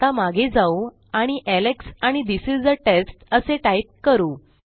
आता मागे जाऊ आणि एलेक्स आणि थिस इस आ टेस्ट असे टाईप करू